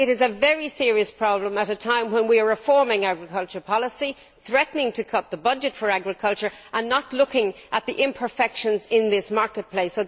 It is a very serious problem at a time when we are reforming agricultural policy, threatening to cut the budget for agriculture and not looking at the imperfections in this marketplace.